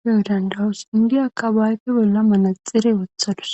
beyo dandawus indiyaaka ba ayepe bolla manaxire wothadus